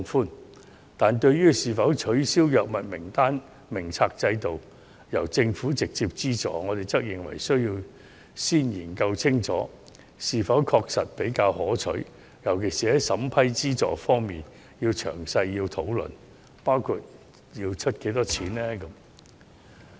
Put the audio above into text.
然而，對於是否取消藥物名冊制度，由政府直接資助，我們則認為需要先研究清楚後者是否確實比較可取，在審批資助方面尤其須作詳細討論，包括政府出資的金額。